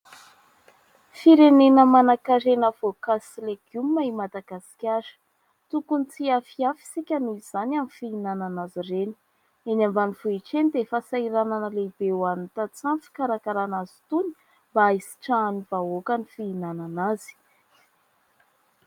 Firenena manan-karena voankazo sy legioma i Madagasikara ; tokony tsy hiafiafy isika noho izany amin'ny fihinanana azy ireny, eny ambanivohitra eny dia fahasahiranana lehibe ho an'ny tantsaha ny fikarakarana azy itony mba hisitrahan'ny vahoaka ny fihinanana azy.